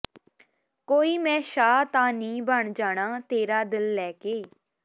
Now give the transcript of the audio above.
ਕੋਈ ਮੈਂ ਸ਼ਾਹ ਤਾਂ ਨੀ ਬਣ ਜਾਣਾ ਤੇਰਾ ਦਿਲ ਲੈ ਕੇ